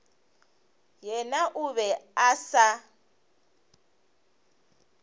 yena o be a sa